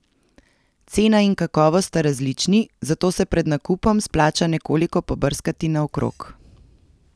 Cena in kakovost sta različni, zato se pred nakupom splača nekoliko pobrskati naokrog.